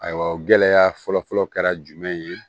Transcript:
Ayiwa gɛlɛya fɔlɔfɔlɔ kɛra jumɛn ye